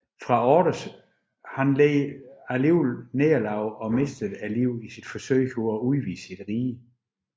Fraortes led dog nederlag og mistede livet i sit forsøg på at udvide sit rige